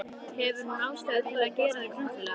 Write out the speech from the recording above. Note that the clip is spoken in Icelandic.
Hefur hún ástæðu til að gera þig grunsamlega?